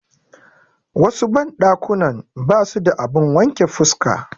Wasu banɗakunan basu da abun wanke fuska.